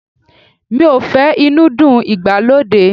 Mi ò feran inúdí ìgbàlódé.